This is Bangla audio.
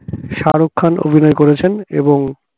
শাহরুখ খান অভিনয় করেছেন এবং